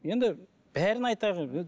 енді бәрін айтайық